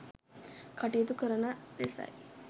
කටයුතු කරන ලෙසයි